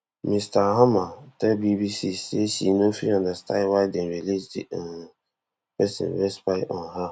ms thalhammer tell bbc say she no fit understand why dem release di um pesin wey spy on her